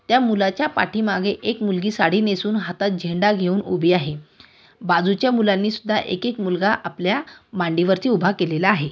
त्या मुलाच्या पाठीमागे एक मुलगी साडी नेसून हातात झेंडा घेऊन उभी आहे. बाजूच्या मुलांनी सुद्धा एक एक मुलगा आपल्या मांडीवरती उभा केलेले आहे.